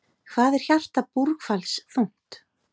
Hvað er hjarta búrhvals þungt?